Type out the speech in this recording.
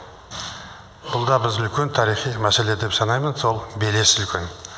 бұл да біз үлкен тарихи мәселе деп санаймын сол белес үлкен